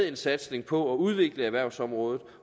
en satsning på at udvikle erhvervsområdet